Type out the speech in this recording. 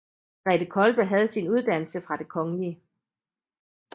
Grethe Kolbe havde sin uddannelse fra Det Kgl